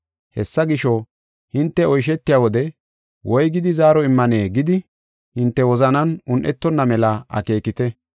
Hessa gisho, hinte oyshetiya wode woygidi zaaro immane gidi hinte wozanan un7etonna mela akeekite.